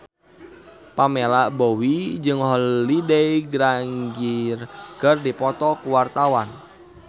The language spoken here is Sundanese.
Pamela Bowie jeung Holliday Grainger keur dipoto ku wartawan